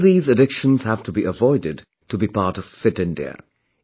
All these addictions have to be avoided to be a part of Fit India